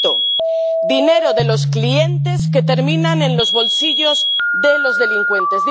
Repito dinero de los clientes que termina en los bolsillos de los delincuentes.